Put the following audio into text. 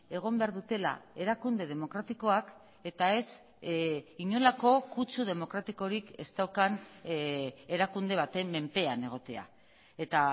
egon behar dutela erakunde demokratikoak eta ez inolako kutsu demokratikorik ez daukan erakunde baten menpean egotea eta